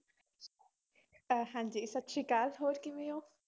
ਅਹ ਹਾਂਜੀ ਸਤਿ ਸ੍ਰੀ ਅਕਾਲ, ਹੋਰ ਕਿਵੇਂ ਹੋ?